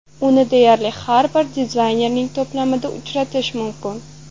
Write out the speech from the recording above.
Uni deyarli har bir dizaynerning to‘plamida uchratish mumkin.